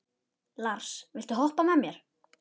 Lars, viltu hoppa með mér?